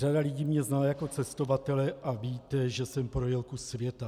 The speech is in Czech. Řada lidé mě zná jako cestovatele a víte, že jsem projel kus světa.